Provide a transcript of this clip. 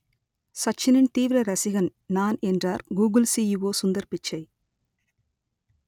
சச்சினின் தீவிர ரசிகன் நான் என்றார் கூகுள் சிஇஓ சுந்தர் பிச்சை